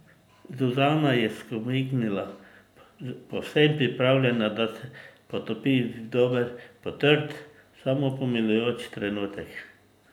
Zuzana je skomignila, povsem pripravljena, da se potopi v dober, potrt, samopomilujoč trenutek.